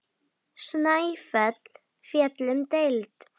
Snæfell féll um deild.